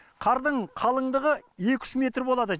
қардың қалыңдығы екі үш метр болады